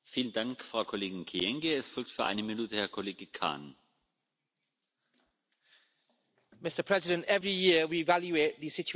Mr President, every year we evaluate the situation of human rights and democracy in the world.